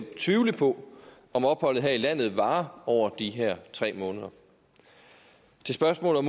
tvivle på om opholdet her i landet varer over de her tre måneder til spørgsmålet